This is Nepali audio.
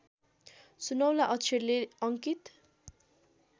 सुनौला अक्षरले अङ्कित